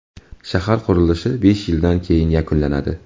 Shahar qurilishi besh yildan keyin yakunlanadi.